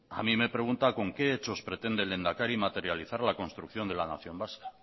a mi me pregunta con qué hechos pretende el lehendakari materializar la construcción de la nación vasca